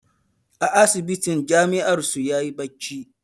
A asibitin jami'ar su yayi bacci